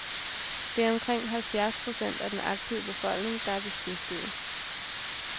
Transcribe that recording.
Det er omkring halvfjerds procent af den aktive befolkning, der er beskæftiget.